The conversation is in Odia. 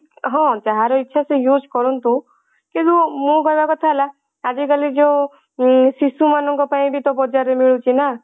ହଁ ଯାହାର ଇଛା ସେ use କରନ୍ତୁ କିନ୍ତୁ ମୋ କହିବା କଥା ହେଲା ଆଜି କାଲି ଯଉ ଉଁ ଶିଶୁ ମାନଙ୍କ ପାଇଁ ବି ତ ବଜାର ରେ ମିଳୁଛି ନା